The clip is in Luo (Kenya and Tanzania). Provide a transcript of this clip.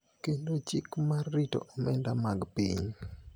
kendo Chik mar rito omenda mag piny.